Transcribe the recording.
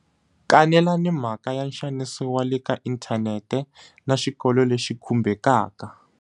Kanelani mhaka ya nxaniso wa le ka inthanete na xikolo lexi khumbekaka.